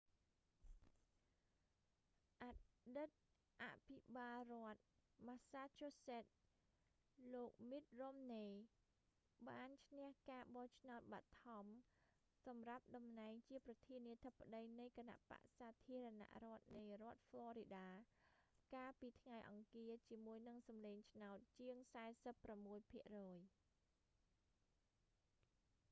អតីតអភិបាលរដ្ឋ massachusetts លោក mitt romney មីត រ៉ុមនី បានឈ្នះការបោះឆ្នោតបឋមសម្រាប់តំណែងជាប្រធានាធិបតីនៃគណបក្សសាធារណរដ្ឋនៃរដ្ឋ florida កាលពីថ្ងៃអង្គារ ជាមួយនឹងសម្លេងឆ្នោតជាង 46 ភាគរយ